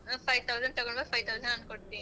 five thousand ತಗೊಂಡ್ ಬಾ five thousand ನಾನ್ ಕೊಡ್ತೀನಿ.